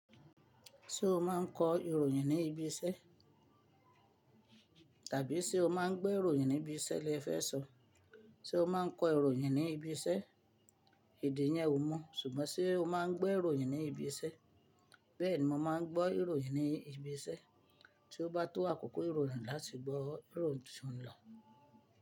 Ṣé o máa ń kọ ìròyìn ní ibi iṣẹ́? Tàbí ṣe o máa ń gbọ́ ìròyìn ní ibi iṣẹ́ lẹ fẹ́ sọ? Sé o máa ń kọ ìròyìn ní ibi iṣẹ́? Èdè yẹn ò mu, ṣùgbọ́n ṣe o máa ń gbọ́ ìròyìn ní ibi iṣẹ́? Bẹ́ẹ̀ ni mo máa ń gbọ́ ìròyìn ní ibi iṣẹ́, tí ó bá tó àkókò ìròyìn láti gbọ́ ìròyìn tí ó ń lọ.